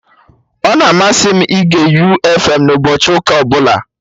Ọ na-amasị m ịge U fm na ụbọchị ụka ọbụla